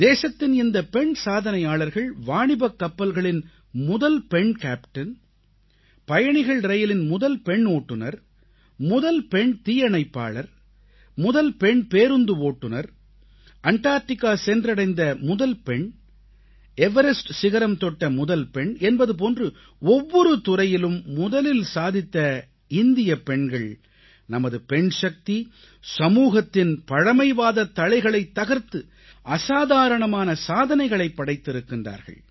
தேசத்தின் இந்தப் பெண் சாதனையாளர்கள் வாணிபக் கப்பல்களின் முதல் பெண் கேப்டன் பயணிகள் ரயிலின் முதல் பெண் ஓட்டுனர் முதல் பெண் தீயணைப்பாளர் முதல் பெண் பேருந்து ஓட்டுநர் அண்டார்ட்டிகா சென்றடைந்த முதல் பெண் எவரஸ்ட் சிகரம் தொட்ட முதல் பெண் என்பது போன்று ஒவ்வொரு துறையிலும் முதலில் சாதித்த பெண்கள் நமது பெண்சக்தி சமூகத்தின் பழைமைவாதத் தளைகளைத் தகர்த்து அசாதாரணமான சாதனைகளைப் படைத்திருக்கின்றார்கள்